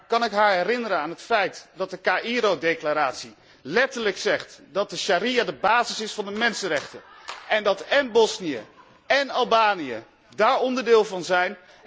Kan ik haar herinneren aan het feit dat de Verklaring van Cairo letterlijk zegt dat de sharia de basis is van de mensenrechten en dat én Bosnië én Albanië daar onderdeel van zijn.